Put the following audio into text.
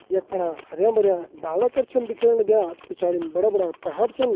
यक फणा हरियां भरियां डाला कर छन दिखेण लग्या पिछाड़िम बड़ा बड़ा पहाड़ छन।